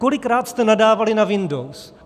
Kolikrát jste nadávali na Windows?